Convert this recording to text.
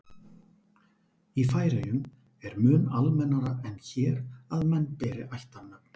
í færeyjum er mun almennara en hér að menn beri ættarnöfn